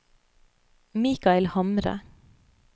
Mikael Hamre